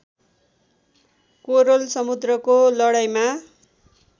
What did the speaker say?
कोरल समुद्रको लडाईँमा